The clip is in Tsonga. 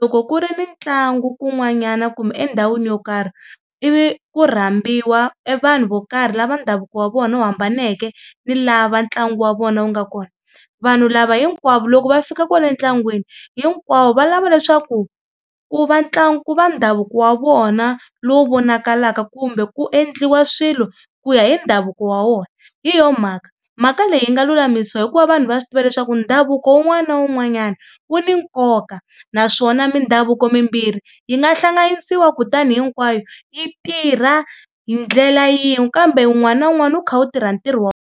loko ku ri ni ntlangu kun'wanyana kumbe endhawini yo karhi ivi ku rhambiwa e vanhu vo karhi lava ndhavuko wa vona wu hambaneke ni lava ntlangu wa vona wu nga kona, vanhu lava hinkwavo loko va fika kwala ntlangwini hinkwavo va lava leswaku ku va ku va ndhavuko wa vona lowu vonakalaka kumbe ku endliwa swilo ku ya hi ndhavuko wa wona hi yo mhaka mhaka leyi yi nga lulamisiwa hikuva vanhu va swi tiva leswaku ndhavuko wun'wana na wun'wanyana wu ni nkoka naswona mindhavuko mimbirhi yi nga hlanganisiwa kutani hinkwayo yi tirha hi ndlela yin'we kambe wun'wana na wun'wana wu kha wu tirha ntirho .